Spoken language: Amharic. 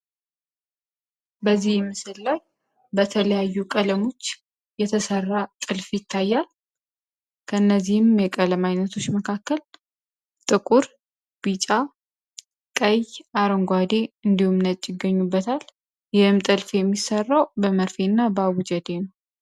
በዚህም ምስል በተለያዩ ቀለሞች የተሠራ ጥልፍ ይታያል። ከእነዚህም የቀለም ዓይነቶች መካከል ጥቁር፣ ቢጫ፣ ቀይ፣ አረንጓዴ እንዲሁም ነጭ ይገኙበታል። ይህንም ጥልፍ የሚሠራው በመርፌ እና በአቡጀዴ ነው።